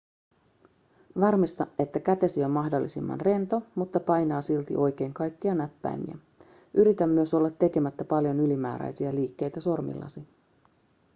varmista että kätesi on mahdollisimman rento mutta painaa silti oikein kaikkia näppäimiä yritä myös olla tekemättä paljon ylimääräisiä liikkeitä sormillasi